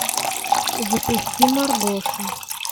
запусти маргоша